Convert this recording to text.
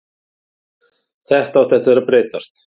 Það átti eftir að breytast.